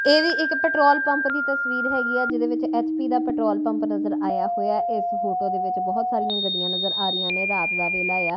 ਇਹ ਵੀ ਇੱਕ ਪੈਟਰੋਲ ਪੰਪ ਦੀ ਤਸਵੀਰ ਹੈਗੀ ਆ ਜਿਹਦੇ ਵਿੱਚ ਐਚ_ਪੀ ਦਾ ਪੈਟਰੋਲ ਪੰਪ ਨਜ਼ਰ ਆਇਆ ਹੋਇਆ ਇਸ ਫੋਟੋ ਦੇ ਵਿੱਚ ਬਹੁਤ ਸਾਰੀਆਂ ਗੱਡੀਆਂ ਨਜ਼ਰ ਆ ਰਹੀਆਂ ਨੇ ਰਾਤ ਦਾ ਵੇਲਾ ਆ --